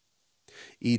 í